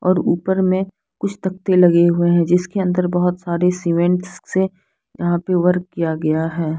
और ऊपर मे कुछ तख्ते लगे हुए है जिसके अंदर बहुत सारे सीमेंट्स है यहाँ पे वर्क किया गया है।